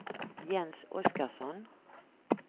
Jens Oskarsson